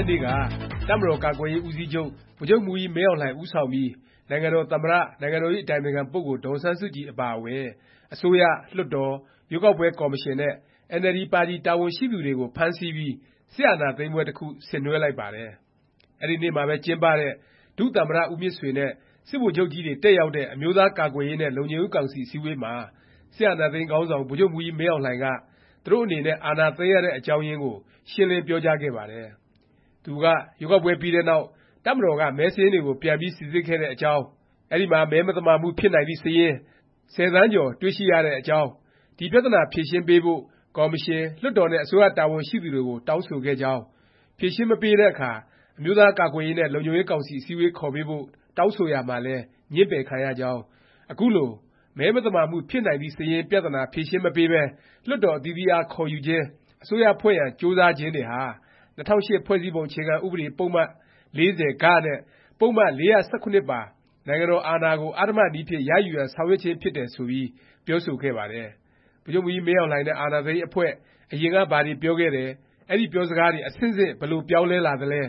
က်နေ့က တပ်မတော်ကာကွယ်ရေး ဦးစီးချုပ် ဗိုလ်ချုပ်မှူးကြီး မင်းအောင်လှိုင် ဦးဆောင်ပြီး နိုင်ငံတော် သမ္မတ၊ နိုင်ငံတော် အတိုင်ပင်ခံပုဂ္ဂိုလ် ဒေါ်အောင်ဆန်းစုကြည် အပါအဝင် အစိုးရ၊ လွှတ်တော်၊ ရွေးကောက်ပွဲကော်မရှင်နဲ့ အင်န်အယ်လ်ဒီပါတီ တာဝန်ရှိသူတွေကို ဖမ်းဆီးပြီး စစ်အာဏာသိမ်းပွဲတစ်ခု ဆင်နွဲှလိုက်ပါတယ်။ အဲဒီနေ့မှာပဲ ကျင်းပတဲ့ ဒုသမ္မတ ဦးမြင့်ဆွေနဲ့ စစ်ဗိုလ်ချုပ်ကြီးတွေ တက်ရောက်တဲ့ အမျိုးသား ကာကွယ်ရေးနဲ့ လုံခြုံရေးကောင်စီ အစည်းအဝေးမှာ အာဏာသိမ်းခေါင်းဆောင် ဗိုလ်ချုပ်မှူးကြီး မင်းအောင်လှိုင်က သူတို့အနေနဲ့ အာဏာသိမ်းရတဲ့ အကြောင်းရင်းကို ရှင်းလင်းပြောကြားခဲ့ပါတယ်။ သူက ရွေးကောက်ပွဲ ပြီးတဲ့နောက် တပ်မတော်က မဲစာရင်းတွေကို ပြန်ပြီး စိစစ်ခဲ့တဲ့အကြောင်း၊ အဲဒီမှာ “ မဲမသမာမှုဖြစ်နိုင်သည့် စာရင်း” ၁၀ သန်းကျော် တွေ့ရှိရတဲ့အကြောင်း၊ ဒီ ပြသနာ ဖြေရှင်းပေးဖို့ ကော်မရှင်၊ လွှတ်တော်နဲ့ အစိုးရ တာဝန်ရှိသူတွေကို တောင်းဆိုခဲ့ကြောင်း၊ ဖြေရှင်းမပေးတဲ့အခါ အမျိုးသားကာကွယ်ရေးနဲ့ လုံခြုံရေးကောင်စီ အစည်းအဝေး ခေါ်ပေးဖို့ တောင်းဆိုရာမှာလည်း ငြင်းပယ်ခံရကြောင်း၊ အခုလို “ မဲမသမာမှုဖြစ်နိုင်သည့် စာရင်း” ပြသနာ ဖြေရှင်းမပေးပဲ လွှတ်တော် အသီးသီးအား ခေါ်ယူခြင်း၊ အစိုးရဖွဲ့ရန် ကြိုးစားခြင်းတွေဟာ ၂၀၀၈ ဖွဲ့စည်းပုံ အခြေခံ ဥပဒေ ပုဒ်မ ၄၀ နဲ့ ပုဒ်မ ပါ “ နိုင်ငံတော်အာဏာကို အဓမ္မနည်းဖြင့် ရယူရန် ဆောင်ရွက်ခြင်း” ဖြစ်တယ် ဆိုပြီး ပြောဆိုခဲ့ပါတယ်။ ဗိုလ်ချုပ်မှူးကြီး မင်းအောင်လှိုင်နဲ့ အာဏာသိမ်း အဖွဲ့ အရင်က ဘာတွေ ပြောခဲ့တယ်၊ အဲဒီ ပြောစကားတွေ အဆင့်ဆင့် ဘယ်လို ပြောင်းလဲလာသလဲ၊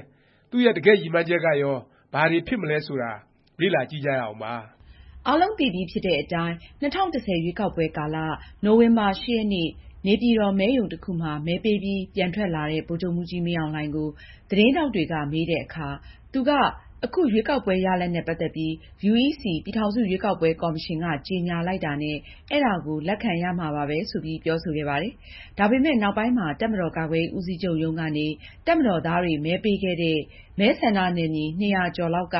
သူ့ရဲ့ တကယ့် ရည်မှန်းချက်ကရော ဘာတွေ ဖြစ်မလဲ ဆိုတာ လေ့လာကြည့်ကြရအောင်ပါ။ အားလုံးသိပြီဖြစ်တဲ့အတိုင်း ၂၀၁၀ ရွေးကောက်ပွဲကာလ နိုဝင်ဘာ ၈ ရက်နေ့ နေပြည်တော် မဲရုံတစ်ခုမှာ မဲပေးပြီး ပြန်ထွက်လာတဲ့ ဗိုလ်ချုပ်မှူးကြီး မင်းအောင်လှိုင်ကို သတင်းထောက်တွေက မေးတဲ့အခါ သူက အခု ရွေးကောက်ပွဲ ရလာဒ်နဲ့ ပတ်သက်ပြီး UEC ပြည်ထောင်စု ရွေးကောက်ပွဲ ကော်မရှင်က ကြေညာလိုက်တာနဲ့ အဲဒါကို လက်ခံရမှာပဲ ဆိုပြီး ပြောဆိုခဲ့ပါတယ်။ ဒါပေမယ့် နောက်ပိုင်းမှာ တပ်မတော်ကာကွယ်ရေး ဦးစီးချုပ်ရုံးကနေ တပ်မတော်သားတွေ မဲပေးခဲ့တဲ့ မဲဆန္ဒနယ်မြေ ၂၀၀ ကျော်လောက်က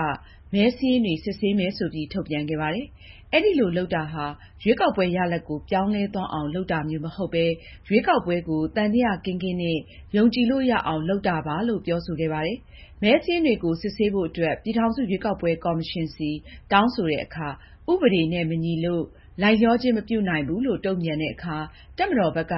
မဲစာရင်းတွေ စစ်ဆေးမယ် ဆိုပြီး ထုတ်ပြန်ခဲ့ပါတယ်။ အဲဒီလို လုပ်တာဟာ ရွေးကောက်ပွဲ ရလာဒ်ကို ပြောင်းလဲသွားအောင် လုပ်တာမျိုး မဟုတ်ပဲ၊ ရွေးကောက်ပွဲကို သံသယ ကင်းကင်းနဲ့ ယုံကြည်လို့ရအောင် လုပ်တာပါလို့ ပြောဆိုခဲ့ပါတယ်။ မဲစာရင်းတွေကို စစ်ဆေးဖို့ အတွက် ပြည်ထောင်စု ရွေးကောက်ပွဲ ကော်မရှင်ဆီ တောင်းဆိုတဲ့အခါ ဥပဒေနဲ့ မညီလို့ လိုက်လျောခြင်း မပြုနိုင်ဘူးလို့ တုန့်ပြန်တဲ့အခါ တပ်မတော်ဘက်က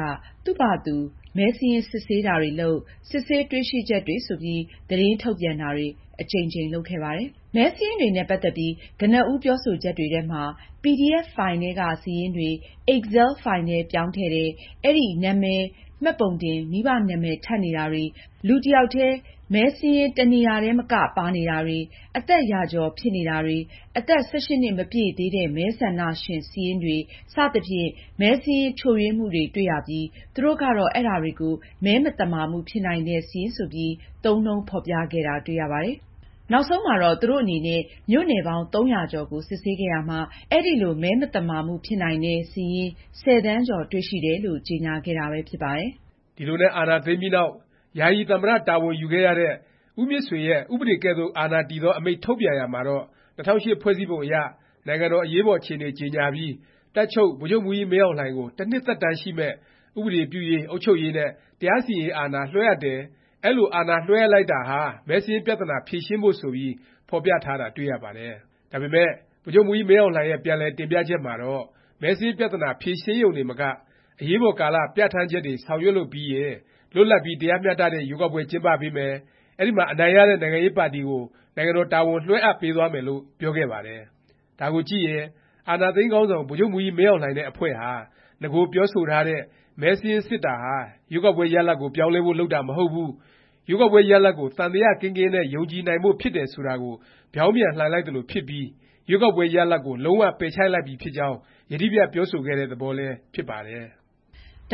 သူ့ဖာသာသူ မဲစာရင်း စစ်ဆေးတာတွေလုပ်၊ စစ်ဆေး တွေ့ရှိချက်တွေ ဆိုပြီး သတင်းထုတ်ပြန်တာတွေ အကြိမ်ကြိမ် လုပ်ခဲ့ပါတယ်။ မဲစာရင်းတွေနဲ့ ပတ်သက်ပြီး ကနဦးပြောဆိုချက်တွေမှာ PDF ဖိုင်ထဲက စာရင်းတွေ Excel ဖိုင်ထဲ ပြောင်းထည့်တယ်၊ အဲဒီမှာ နာမည်၊ မှတ်ပုံတင်၊ မိဘ နာမည် ထပ်နေတာတွေ၊ လူတစ်ယောက်ထဲ မဲစာရင်း တစ်နေရာထဲမက ပါနေတာတွေ၊ အသက် ရာကျော် ဖြစ်နေတာတွေ၊ အသက် ၁၈ နှစ်မပြည့်သေးတဲ့ မဲဆန္ဒရှင်စာရင်းတွေ စသဖြင့် မဲစာရင်းချို့ယွင်းမှုတွေ တွေ့ရပြီး သူတို့ကတော့ အဲဒါတွေကို “ မဲမသမာမှုဖြစ်နိုင်သည့် စာရင်း ” ဆိုပြီး သုံးနှုန်းဖော်ပြခဲ့တာ တွေ့ရပါတယ်။ နောက်ဆုံးမှာတော့ သူတို့အနေနဲ့ မြို့နယ်ပေါင်း ၃၀၀ ကျော် စစ်ဆေးခဲ့ရာမှာ အဲလို “ မဲမသမာမှုဖြစ်နိုင်သည့် စာရင်း” ၁၀ သန်းကျော် တွေ့ရှိတယ်လို့ ကြေညာခဲ့တာပဲ ဖြစ်ပါတယ်။ ဒီလိုနဲ့ အာဏာသိမ်းပြီးနောက် ယာယီသမ္မတ တာဝန်ရခဲ့တဲ့ ဦးမြင့်ဆွေရဲ့ ဥပဒေကဲ့သို့ အာဏာတည်သော အမိန့်ထုတ်ပြန်ရာမှာတော့ ၂၀၀၈ ဖွဲ့စည်းပုံအရ နိုင်ငံတော် အရေးပေါ် အခြေအနေ ကြေညာပြီး တပ်ချုပ်ဗိုလ်ချုပ်မှူးကြီးမင်းအောင်လှိုင်ကို တစ်နှစ် သက်တမ်းရှိမယ့် ဥပဒေပြုရေး၊ အုပ်ချုပ်ရေးနဲ့ တရားစီရင်ရေး အာဏာလွဲှအပ်တယ်၊ အဲလို အာဏာအပ်ပေးလိုက်တာဟာ မဲစာရင်းပြသနာ ဖြေရှင်းဖို့ ဆိုပြီး ဖော်ပြထားတာ တွေ့ရပါတယ်။ ဒါပေမယ့် ဗိုလ်ချုပ်မှူးကြီး မင်းအောင်လှိုင်ရဲ့ ပြန်လည် တင်ပြချက်မှာတော့ မဲစာရင်း ပြသနာ ဖြေရှင်းရုံတင်မက အရေးပေါ်ကာလ ပြဌာန်းချက်တွေ ဆောင်ရွက်လို့ ပြီးရင် လွတ်လပ်ပြီး တရားမျှတတဲ့ ရွေးကောက်ပွဲ ကျင်းပပေးမယ်၊ အဲဒီမှာ အနိုင်ရတဲ့ နိုင်ငံရေးပါတီကို နိုင်ငံတော် တာဝန် လွဲှအပ်ပေးသွားမယ်လို့ ပြောခဲ့ပါတယ်။ ဒါကိုကြည့်ရင် အာဏာသိမ်းခေါင်းဆောင် ဗိုလ်ချုပ်မှူးကြီး မင်းအောင်လှိုင်နဲ့ အဖွဲ့ဟာ နဂို ပြောဆိုထားတဲ့ မဲစာရင်း စစ်တာဟာ ရွေးကောက်ပွဲ ရလာဒ်ကို ပြောင်းလဲဖို့ လုပ်တာ မဟုတ်ဘူး၊ ရွေးကောက်ပွဲ ရလာဒ်ကို သံသယ ကင်းကင်းနဲ့ ယုံကြည်နိုင်ဖို့ ဖြစ်တယ် ဆိုတာကို ဗြောင်းပြန် လှန်လိုက်သလို ဖြစ်ပြီး ရွေးကောက်ပွဲ ရလာဒ်ကို လုံး၀ ပယ်ချလိုက်ပြီဖြစ်ကြောင်း ယတိပြတ် ပြောဆိုခဲ့တဲ့ သဘောလည်း ဖြစ်ပါတယ်။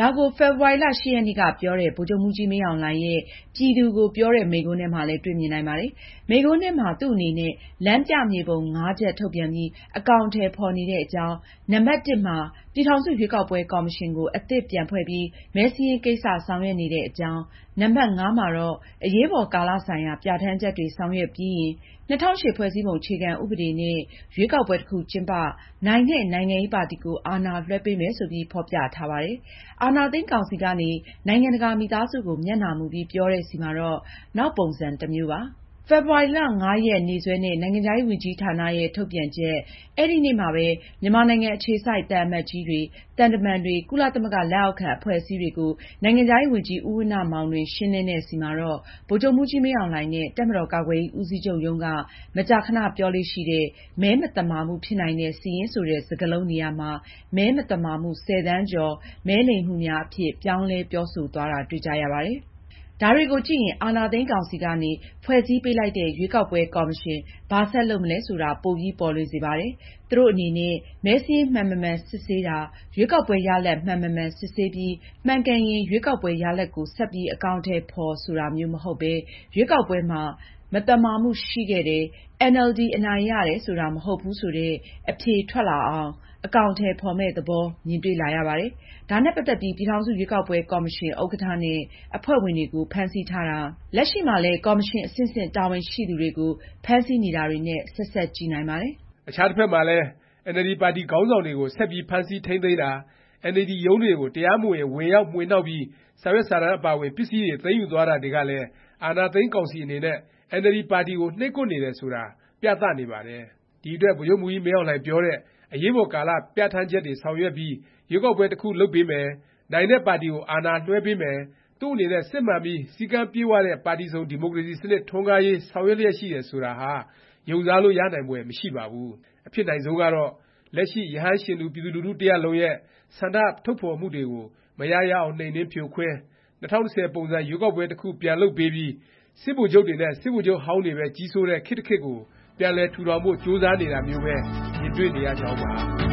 ဒါကို ဖေဖေါ်ဝါရီလ ၈ ရက်နေ့က ပြောတဲ့ ဗိုလ်ချုပ်မှူးကြီး မင်းအောင်လှိုင်ရဲ့ ပြည်သူကို ပြောတဲ့ မိန့်ခွန်းထဲမှာလည်း တွေ့မြင်နိုင်ပါတယ်။ မိန့်ခွန်းထဲမှာ သူ့အနေနဲ့ လမ်းပြ မြေပုံ ၅ ချက် ထုတ်ပြန်ပြီး အကောင်အထည် ဖော်နေတဲ့အကြောင်း၊ နံပတ် မှာ ပြည်ထောင်စု ရွေးကောက်ပွဲ ကော်မရှင်ကို အသစ်ပြန်ဖွဲ့ပြီး မဲစာရင်းကိစ္စ ဆောင်ရွက်နေတဲ့အကြောင်း၊ နံပတ် မှာတော့ အရေးပေါ်ကာလ ဆိုင်ရာ ပြဌာန်းချက်တွေ ဆောင်ရွက်ပြီးရင် ၂၀၀၈ ဖွဲ့စည်းပုံ အခြေခံ ဥပဒေ နဲ့ ရွေးကောက်ပွဲ တစ်ခု ကျင်းပ၊ နိုင်တဲ့ နိုင်ငံရေးပါတီကို အာဏာလွဲှပေးမယ် ဆိုပြီး ဖော်ပြထားပါတယ်။ အာဏာသိမ်း ကောင်စီကနေ နိုင်ငံတကာ မိသားစုကို မျက်နှာမူပြီး ပြောတဲ့ဆီမှာတော့ နောက်ပုံစံ တစ်မျိုးပါ။ ဖေဖေါ်ဝါရီ ၅ ရက်နေ့စွဲနဲ့ နိုင်ငံခြားရေး ဝန်ကြီးဌာနရဲ့ ထုတ်ပြန်ချက်၊ အဲဒီနေ့မှာပဲ မြန်မာနိုင်ငံ အခြေစိုက် သံအမတ်ကြီးတွေ၊ သံတမန်တွေ၊ ကုလသမဂ္ဂ လက်အောက်ခံ အဖွဲ့အစည်းတွေကို နိုင်ငံခြားရေးဝန်ကြီး ဦးဝဏ္ဏမောင်လွင် ရှင်းလင်းတဲ့ဆီမှာတော့ ဗိုလ်ချုပ်မှူးကြီး မင်းအောင်လှိုင်နဲ့ တပ်မတော်ကာကွယ်ရေး ဦးစီးချုပ်ရုံးက မကြာခဏ ပြောလေ့ရှိတဲ့ “ မဲမသမာမှုဖြစ်နိုင်သည့် စာရင်း” ဆိုတဲ့ စကားလုံး နေရာမှာ “ မဲမသာမှု ၁၀ သန်းကျော်” “ မဲလိမ်မှုများ” အဖြစ် ပြောင်းလဲ ပြောဆိုသွားတာ တွေ့ကြရပါတယ်။ ဒါတွေကိုကြည့်ရင် အာဏာသိမ်းကောင်စီကနေ ဖွဲ့စည်းပေးလိုက်တဲ့ ရွေးကောက်ပွဲ ကော်မရှင် ဘာဆက်လုပ်မလဲ ဆိုတာ ပိုပြီး ပေါ်လွင်လာစေပါတယ်။ သူတို့အနေနဲ့ မဲစာရင်း မှန်မမှန် စစ်ဆေးတာ၊ ရွေးကောက်ပွဲ ရလာဒ် မှန်မမှန် စစ်ဆေးပြီး မှန်ကန်ရင် ရွေးကောက်ပွဲ ရလာဒ်ကို ဆက်ပြီး အကောင်အထည် ဖော် ဆိုတာမျိုး မဟုတ်ပဲ၊ ရွေးကောက်ပွဲမှာ မသမာမှုရှိခဲ့တယ်၊ အင်န်အယ်လ်ဒီ အနိုင်ရတယ် ဆိုတာ မဟုတ်ဘူး ဆိုတဲ့ အဖြေထွက်လာအောင် အကောင်အထည် ဖော်မယ့် သဘော မြင်တွေ့လာရပါတယ်။ ဒါနဲ့ပတ်သက်ပြီး ပြည်ထောင်စု ရွေးကောက်ပွဲ ကော်မရှင် ဥက္ကဌ နဲ့ အဖွဲ့ဝင်တွေကို ဖမ်းဆီးထားတာ၊ လက်ရှိမှာလည်း ကော်မရှင် အဆင့်ဆင့် တာဝန်ရှိသူတွေကို ဖမ်းဆီးနေတာတွေနဲ့ ဆက်စပ်ကြည့်နိုင်ပါတယ်။ အခြားတစ်ဖက်မှာလည်း အင်န်အယ်လ်ဒီ ပါတီ ခေါင်းဆောင်တွေကို ဆက်ပြီး ဖမ်းဆီး ထိမ်းသိမ်းတာ၊ အင်န်အယ်လ်ဒီ ရုံးတွေကို တရားမဝင် ဝင်ရောက်မွှေနှောက်ပြီး စာရွက်စာတမ်း အပါအဝင် ပစ္စည်းတွေ သိမ်းယူသွားတာတွေကလည်း အာဏာသိမ်း ကောင်စီ အနေနဲ့ အင်န်အယ်လ်ဒီ ပါတီကို နှိပ်ကွပ်နေတယ် ဆိုတာ ပြသနေပါတယ်။ ဒီအတွက် ဗိုလ်ချုပ်မှူးကြီး မင်းအောင်လှိုင်ပြောတဲ့ အရေးပေါ်ကာလ ပြဌာန်းချက်တွေ ဆောင်ရွက်ပြီး ရွေးကောက်ပွဲ တစ်ခု လုပ်ပေးမယ်၊ နိုင်တဲ့ပါတီကို အာဏာလွဲှပေးမယ်၊ သူ့အနေနဲ့ စစ်မှန်ပြီး စည်းကမ်းပြည့်ဝတဲ့ ပါတီစုံ ဒီမိုကရေစီ စနစ် ထွန်းကားလာရေး ဆောင်ရွက်လျက်ရှိတယ်၊ ဆိုတာဟာ ယုံစားလို့ ရနိုင်ဖွယ် မရှိပါဘူး။ အဖြစ်နိုင်ဆုံးကတော့ လက်ရှိ ရဟန်းရှင်လူ ပြည်သူလူထု တစ်ရပ်လုံးရဲ့ ဆန္ဒထုတ်ဖော်တွေကို မရရအောင် နှိမ်နင်း ဖြိုခွင်း၊ ၂၀၁၀ ပုံစံ ရွေးကောက်ပွဲ တစ်ခု ပြန်လုပ်ပေးပြီး စစ်ဗိုလ်ချုပ်တွေနဲ့ စစ်ဗိုလ်ချုပ်ဟောင်းတွေပဲ ကြီးစိုးတဲ့ ခေတ်တစ်ခေတ်ကို ပြန်လည် ထူထောင်ဖို့ ကြိုးစားနေတာမျိုးပဲ မြင်တွေ့နေရကြောင်းပါ